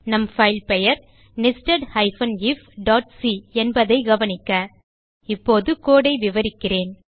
நம் பைல் பெயர் nested ifசி என்பதைக் கவனிக்க இப்போது codeஐ விவரிக்கிறேன்